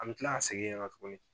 An me kila ka segin yen tuguni.